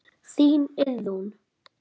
Þín Iðunn.